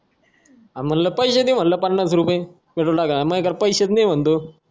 हा म्हटलं पैसे द्या पन्नास रुपये petrol टाकायला माझ्याकडं पैसेच नाही म्हणतो